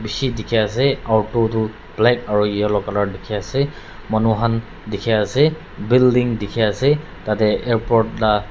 bishi dikhi ase auto tu black aro yellow color dikhi ase manu khan dikhi ase building dikhi ase tade airport la--